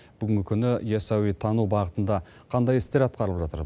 бүгінгі күні ясауитану бағытында қандай істер атқарылып жатыр